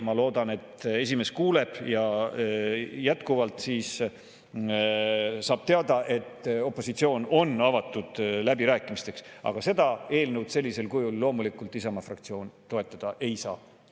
Ma loodan, et esimees kuuleb ja saab teada, et opositsioon on avatud läbirääkimisteks, aga seda eelnõu sellisel kujul loomulikult Isamaa fraktsioon toetada ei saa.